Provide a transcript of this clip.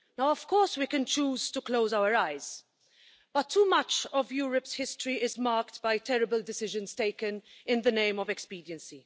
Of course we can choose to close our eyes, but too much of Europe's history is marked by terrible decisions taken in the name of expediency.